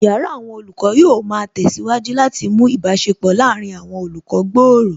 Yàrá àwọn olùkọ́ yóò ma tẹ̀síwájú láti mú ìbáṣepọ̀ láàárín àwọn olùkọ́ gbòòrò